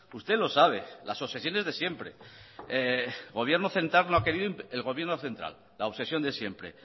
usted lo sabe las obsesiones de siempre gobierno central no ha querido el gobierno central la obsesión de siempre